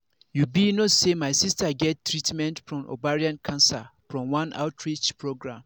you be no say my sister get treatment from ovarian cancer from one outreach program